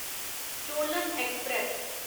Cholan express